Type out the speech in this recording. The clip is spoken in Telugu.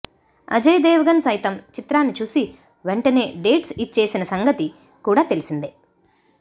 అజయ్ దేవగణ్ సైతం చిత్రాన్ని చూసి వెంటనే డేట్స్ ఇచ్ఛేసిన సంగతి కూడా తెలిసిందే